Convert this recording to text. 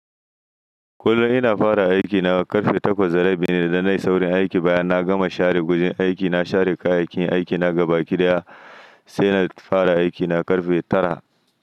Kullum ina fara aikina karfe takwas da rabi ne, idan na isa wurin aiki bayan na gama share gujen aiki na share kayayyakin aikina gaba kiɗaya sai na fara aiki na karfe tara.